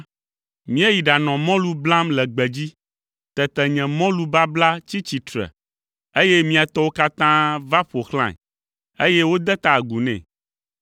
Míeyi ɖanɔ mɔlu blam le gbedzi; tete nye mɔlu babla tsi tsitre, eye mia tɔwo katã va ƒo xlãe, eye wode ta agu nɛ.”